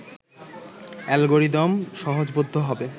algorithm সহজবোধ্য হবে